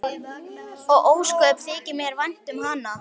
Og ósköp þykir mér vænt um hana.